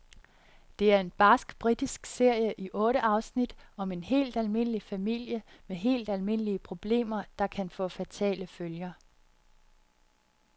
Det er en barsk britisk serie i otte afsnit om en helt almindelig familie, med helt almindelige problemer, der kan få fatale følger.